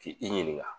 K'i i ɲininka